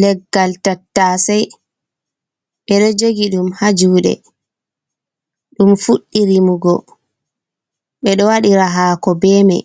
Leggal tattasei:Ɓeɗo jogi ɗum ha juɗe ɗum ɗo fuɗɗi rimugo. Ɓeɗo waɗira haako be mei,